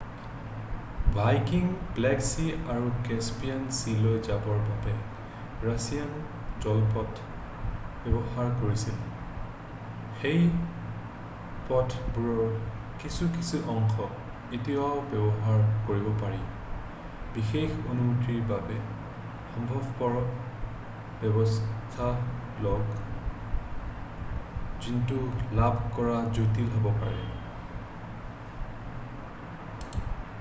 ভাইকিঙে Black Sea আৰু Caspian চিলৈ যাবৰ বাবে ৰাছিয়াৰ জলপথ ব্যৱহাৰ কৰিছিল সেই পথবোৰৰ কিছু কিছু অংশ এতিয়াও ব্যৱহাৰ কৰিব পাৰি বিশেষ অনুমতিৰ বাবে সম্ভৱপৰ ব্যৱস্থা লওক যিটো লাভ কৰা জটিল হ'বও পাৰে